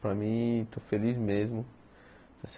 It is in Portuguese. Para mim, estou feliz mesmo.